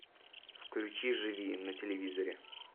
включи живи на телевизоре